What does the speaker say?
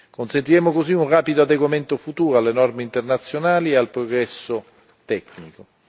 Consentiremo così un rapido adeguamento futuro alle norme internazionali e al progresso tecnico.